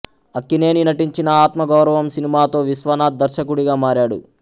అక్కినేని నటించిన ఆత్మ గౌరవం సినిమాతో విశ్వనాథ్ దర్శకుడిగా మారాడు